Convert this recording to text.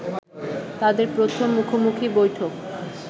তাদের প্রথম মুখোমুখি বৈঠক